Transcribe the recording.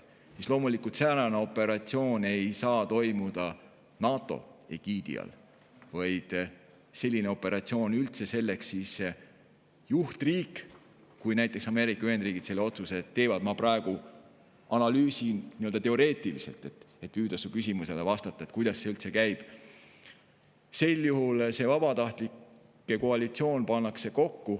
Sel juhul loomulikult säärane operatsioon ei saaks toimuda NATO egiidi all, vaid kui näiteks Ameerika Ühendriigid kui juhtriik sellise otsuse teeb – ma analüüsin praegu teoreetiliselt, et püüda su küsimusele vastata, kuidas see üldse käib –, siis pannakse kokku vabatahtlike koalitsioon.